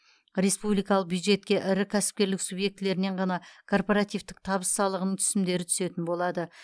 республикалық бюджетке ірі кәсіпкерлік субъектілерінен ғана корпоративтік табыс салығының түсімдері түсетін болады